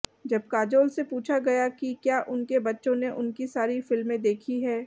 जब काजोल से पूछा गया कि क्या उनके बच्चों ने उनकी सारी फिल्में देखी हैं